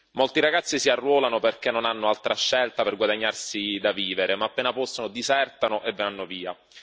Molti ragazzi si arruolano perché non hanno altra scelta per guadagnarsi da vivere, ma appena possono disertano e vanno via.